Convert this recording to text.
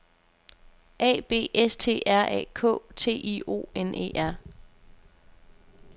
A B S T R A K T I O N E R